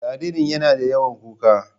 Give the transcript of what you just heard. Jaririn yana da yawan kuka